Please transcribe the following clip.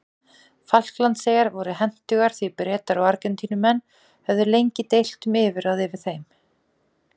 Falklandseyjar voru hentugar því Bretar og Argentínumenn höfðu lengi deilt um yfirráð yfir þeim.